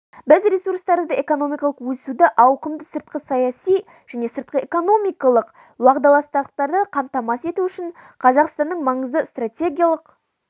біз ресурстарды экономикалық өсуді ауқымды сыртқы саяси және сыртқы экономикалық уағдаластықтарды қамтамасыз ету үшін қазақстанның маңызды стратегиялық